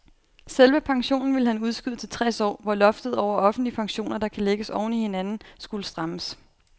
Selve pensionen ville han udskyde til tres år, hvor loftet over offentlige pensioner, der kan lægges oven i hinanden, skulle strammes.